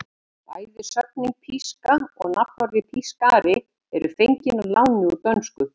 Bæði sögnin píska og nafnorðið pískari eru fengin að láni úr dönsku.